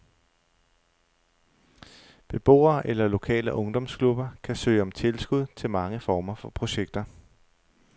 Beboere eller lokale ungdomsklubber kan søge om tilskud til mange former for projekter.